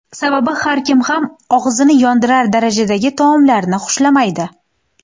Sababi har kim ham og‘izni yondirar darajadagi taomlarni xushlamaydi.